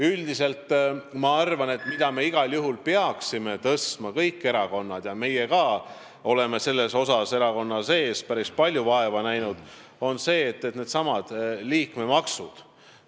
Üldiselt ma arvan, et igal juhul me peaksime tõstatama teema, et kõik erakonnad – ka meie oleme selle nimel erakonnas päris palju vaeva näinud – tagaksid liikmemaksude maksmise.